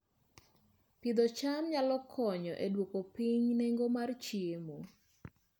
Pidho cham nyalo konyo e duoko piny nengo mar chiemo